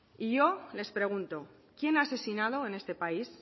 y yo les pregunto quién ha asesinado en este país